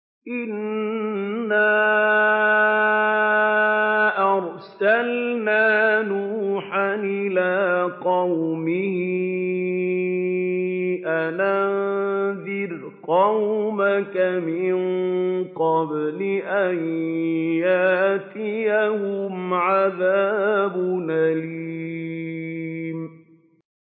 إِنَّا أَرْسَلْنَا نُوحًا إِلَىٰ قَوْمِهِ أَنْ أَنذِرْ قَوْمَكَ مِن قَبْلِ أَن يَأْتِيَهُمْ عَذَابٌ أَلِيمٌ